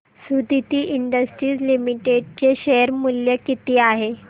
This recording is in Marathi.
सुदिति इंडस्ट्रीज लिमिटेड चे शेअर मूल्य किती आहे सांगा